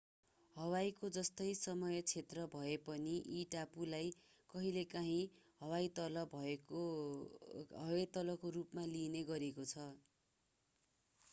हवाईको जस्तै समय क्षेत्र भए पनि यी टापुलाई कहिलेकाहिँ हवाई तल”का रूपमा लिइने गरेको छ।